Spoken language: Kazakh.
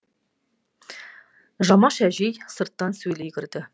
жамаш әжей сырттан сөйлей кірді